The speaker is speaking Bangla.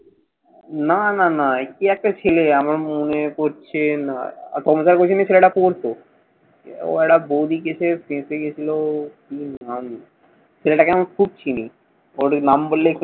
না, না, না। কে একটা ছেলে, আমার মনে পড়ছে না। ছেলেটা পড়তো। ও একটা বৌদি case এ ফেসে গেছিল। কি নাম? ছেলেটাকে আমি খুব চিনি। ওর নাম বললেই